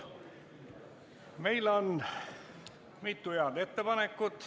Meil on mitu head ettepanekut.